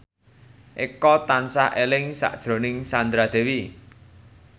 Eko tansah eling sakjroning Sandra Dewi